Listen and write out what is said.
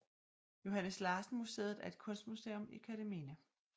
Johannes Larsen Museet er et kunstmuseum i Kerteminde